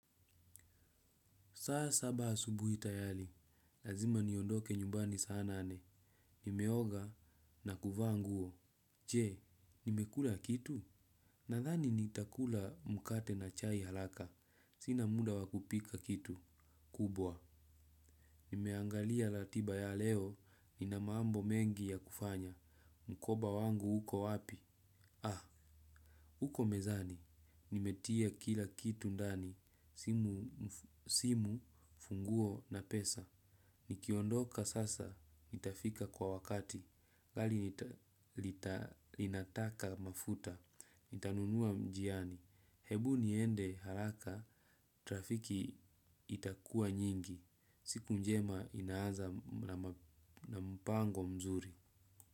Saa saba asubuhi tayari, lazima niondoke nyumbani saa nane. Nimeoga na kuvaa nguo. Je, nimekula kitu? Nathani nitakula mkate na chai haraka. Sina muda wa kupika kitu kubwa. Nimeangalia ratiba ya leo, nina mambo mengi ya kufanya. Mkoba wangu uko wapi? Ah, uko mezani. Nimetia kila kitu ndani. Simu, funguo na pesa. Nikiondoka sasa, nitafika kwa wakati, gari linataka mafuta, nitanunua njiani, hebu niende haraka, trafiki itakuwa nyingi, siku njema inaaza na mpango mzuri.